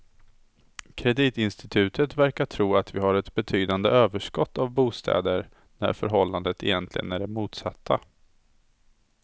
Kreditinstituten verkar tro att vi har ett betydande överskott av bostäder när förhållandet egentligen är det motsatta.